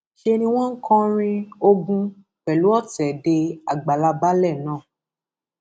ṣe ni wọn ń kọrin ogun pẹlú ọtẹ dé àgbàlá baálé náà